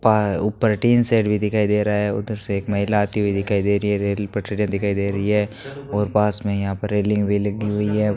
ऊपर tin shed भी दिखाई दे रहा है उधर से एक महिला आई हुई दिखाई दे रही है रेल पटरीयां दिखाई दे रही है और पास में यहां पर रेलिंग भी लगी हुई है।